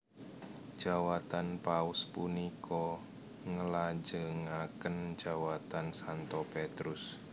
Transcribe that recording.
Jawatan Paus punika nglajengaken jawatan Santo Petrus